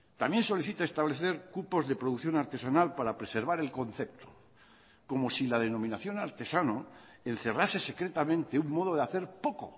también solicita establecer cupos de producción artesanal para preservar el concepto como si la denominación artesano encerrase secretamente un modo de hacer poco